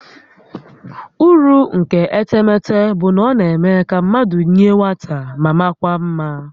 Uru nke etemete bụ na ọ na-eme ka mmadụ yie nwata ma makwaa mma